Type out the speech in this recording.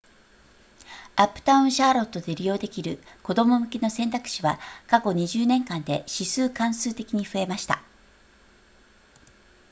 アップタウンシャーロットで利用できる子供向けの選択肢は過去20年間で指数関数的に増えました